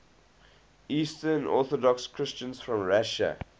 eastern orthodox christians from russia